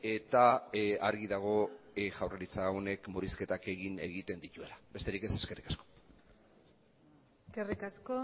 eta argi dago jaurlaritza honek murrizketak egiten dituela besterik ez eskerrik asko eskerrik asko